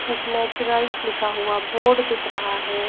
एक नेचुरल्स लिखा हुआ बोर्ड दिख रहा है।